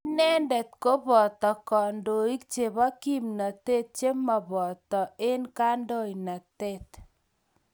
inende ko boto kandoik chebo kimnatet che maboto eng' kandoinatet